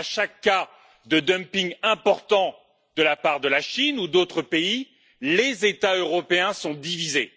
À chaque cas de dumping important de la part de la Chine ou d'autres pays, les États européens sont divisés.